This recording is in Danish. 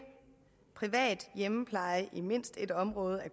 privat hjemmepleje i mindst ét område i